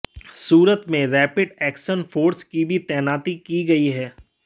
सूरत में rapid action force की भी तैनाती की गई है